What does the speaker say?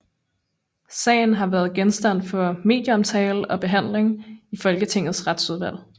Sagen har været genstand for medieomtale og behandling i Folketingets Retsudvalg